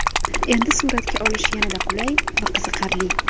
Endi suratga olish yanada qulay va qiziqarli.